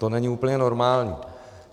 To není úplně normální.